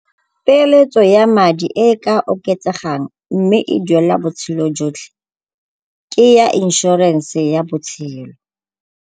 Peeletso ya madi e e ka oketsegang mme e duelela botshelo jotlhe ke ya inšorense ya botshelo.